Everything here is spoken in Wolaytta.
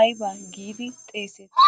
aybba giidi xeesseti?